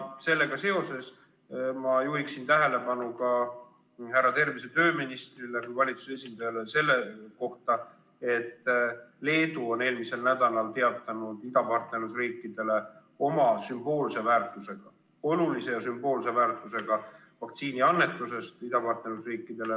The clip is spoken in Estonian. Sellega seoses ma juhin härra tervise- ja tööministri kui valitsuse esindaja tähelepanu ka sellele, et Leedu on eelmisel nädalal teatanud idapartnerlusriikidele oma sümboolse väärtusega, olulise sümboolse väärtusega vaktsiiniannetusest idapartnerlusriikidele.